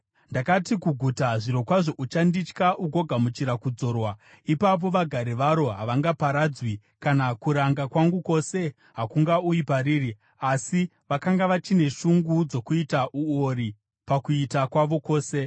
Ndakati kuguta, ‘Zvirokwazvo uchanditya ugogamuchira kudzorwa!’ Ipapo vagari varo havangaparadzwi, kana kuranga kwangu kwose hakungauyi pariri. Asi vakanga vachine shungu dzokuita uori pakuita kwavo kwose.